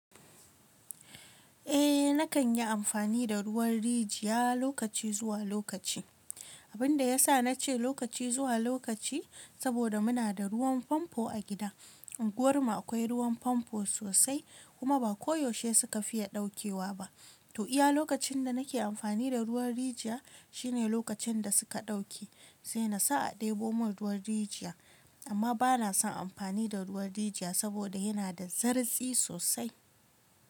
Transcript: Eh nakan yi amfani da ruwan rijiya lokaci zuwa lokaci. Abin da ya sa na ce lokaci zuwa lokaci, saboda muna da ruwan famfo a gida. Unguwar mu akwai ruwan famfo sosai kuma ba ko yaushe suka fiya ɗaukewa ba. To iya lokacin da nake amfani da ruwan rijiya shine lokacin da suka ɗauke. Sai na sa a ɗebo mun ruwan rijiya. Amma ba na son amfani da ruwan rijiya saboda yana da zartsi sosai.